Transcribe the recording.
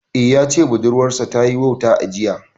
Eh, ya ce budurwar sa ta yi wauta a jiya